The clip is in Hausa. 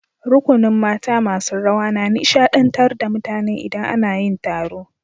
Rukunin mata masun rawa na nishadantar da mutane idan ana yin taro.